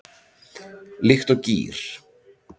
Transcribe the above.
Líkt og gír